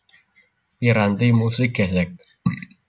Piranti musik gèsèk